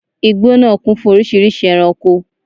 Igbó nàá kún fún oríṣìíríṣìí ẹranko